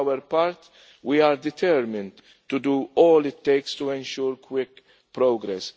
For our part, we are determined to do all it takes to ensure quick progress.